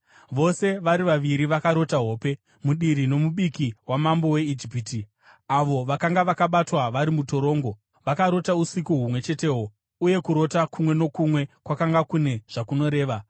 Vose vari vaviri vakarota hope, mudiri nomubiki wamambo weIjipiti, avo vakanga vakabatwa vari mutorongo, vakarota usiku humwe chetehwo, uye kurota kumwe nokumwe kwakanga kune zvakunoreva.